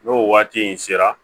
N'o waati in sera